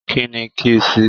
Kínní kí n sí?